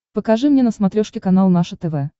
покажи мне на смотрешке канал наше тв